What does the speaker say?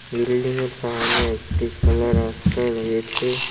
বিল্ডিংয়ের সামনে একটি খোলা রাস্তা রয়েছে।